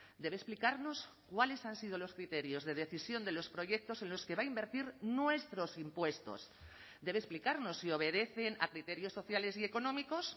debe explicarnos cuáles han sido los criterios de decisión de los proyectos en los que va a invertir nuestros impuestos debe explicarnos si obedecen a criterios sociales y económicos